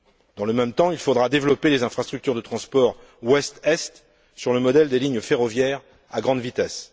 Dans le même temps, il faudra développer les infrastructures de transport ouest est, sur le modèle des lignes ferroviaires à grande vitesse.